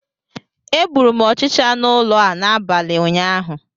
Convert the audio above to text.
Egburu m ọchịcha n'ụlọ a n'abalị ụnyaahụ